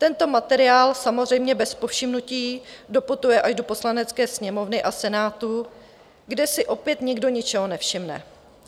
Tento materiál samozřejmě bez povšimnutí doputuje až do Poslanecké sněmovny a Senátu, kde si opět nikdo ničeho nevšimne.